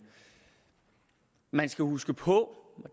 man skal huske på og